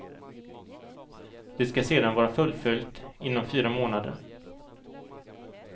Det skall sedan vara fullföljt inom fyra månader.